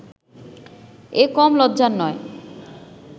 এ কম লজ্জার নয়